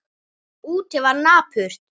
Úti var napurt.